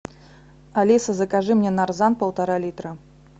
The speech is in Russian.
алиса закажи мне нарзан полтора литра